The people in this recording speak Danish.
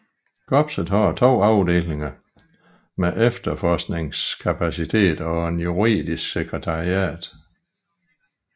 Korpset har to afdelinger med efterforskningskapacitet og et juridisk sekretariat